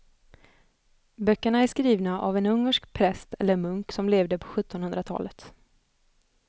Böckerna är skrivna av en ungersk präst eller munk som levde på sjuttonhundratalet.